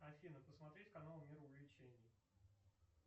афина посмотреть канал мир увлечений